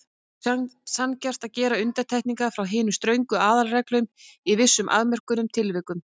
Þótti sanngjarnt að gera undantekningar frá hinum ströngu aðalreglum í vissum afmörkuðum tilvikum.